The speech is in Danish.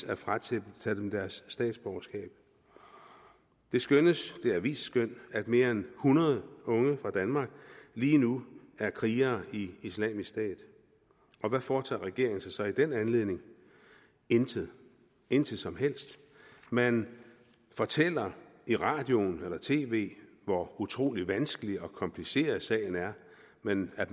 at fratage dem deres statsborgerskab det skønnes det et avisskøn at mere end hundrede unge fra danmark lige nu er krigere i islamisk stat og hvad foretager regeringen sig så i den anledning intet intet som helst man fortæller i radioen eller på tv hvor utrolig vanskelig og kompliceret sagen er men at